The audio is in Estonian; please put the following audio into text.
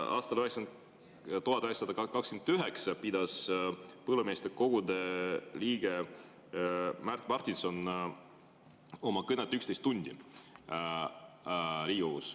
Aastal 1929 pidas Põllumeestekogude liige Märt Martinson Riigikogus oma kõnet 11 tundi.